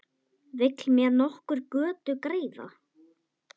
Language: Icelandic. Vill mér nokkur götu greiða?